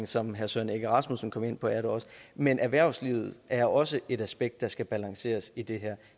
som herre søren egge rasmussen kom ind på er det også men erhvervslivet er også et aspekt der skal balanceres i det her